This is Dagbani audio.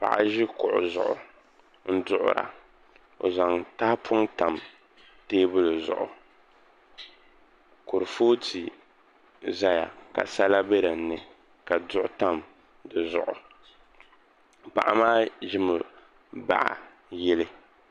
Paɣa ʒi kuɣu zuɣu duɣura o zaŋ tahapoŋ tam teebuli zuɣu kurifooti ʒɛya ka sala bɛ dinni ka duɣu tam di zuɣu paɣa maa ʒimi baɣa yili